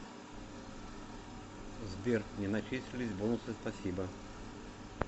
сбер не начислились бонусы спасибо